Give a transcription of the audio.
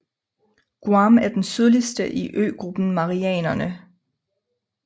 Guam er den sydligste i øgruppen Marianerne